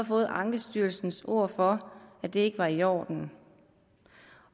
fået ankestyrelsens ord for at det ikke var i orden